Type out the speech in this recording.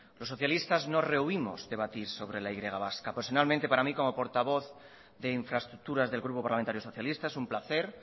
los socialistas no rehuimos debatir sobre la y vasca personalmente para mí como portavoz de infraestructuras del grupo parlamentario socialista es un placer